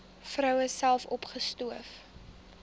vroue self opgespoor